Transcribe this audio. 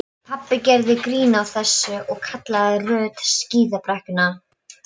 Ég snarstoppaði og leit í kringum mig.